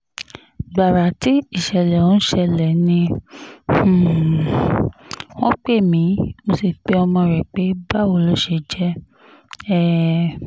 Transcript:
gbàrà tí ìṣẹ̀lẹ̀ ọ̀hún ṣẹlẹ̀ ni um wọ́n pè mí mo sì pe ọmọ rẹ̀ pé báwo ló ṣe jẹ́ um